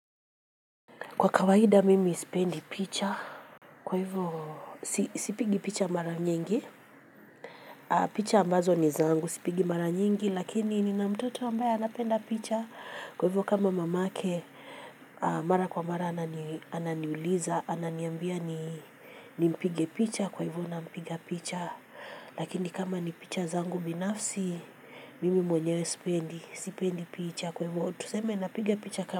Kwa kawaida mimi sipendi picha kwa hivyo sipigi picha mara nyingi picha ambazo ni zangu sipigi mara nyingi lakini nina mtoto ambaye anapenda picha kwa hivyo kama mamake mara kwa mara anani ananiuliza ananiambia ni nimpige picha kwa hivyo nampiga picha lakini kama ni picha zangu binafsi mimi mwenyewe sipendi sipendi picha kwa hivyo tuseme napiga picha kama.